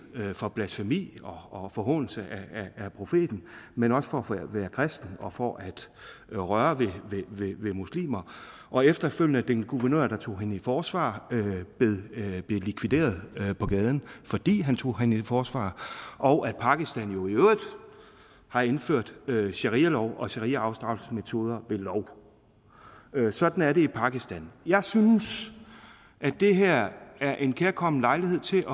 for blasfemi og forhånelse af profeten men også for at være kristen og for at røre ved muslimer og efterfølgende blev den guvernør der tog hende i forsvar likvideret på gaden fordi han tog hende i forsvar og pakistan jo i øvrigt har indført sharialov og shariaafstraffelsesmetoder ved lov sådan er det i pakistan jeg synes at det her er en kærkommen lejlighed til